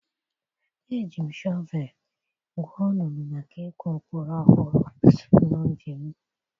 Eji m shọvel gwuo olulu maka ịkụ mkpụrụ ọhụrụ n'ubi m.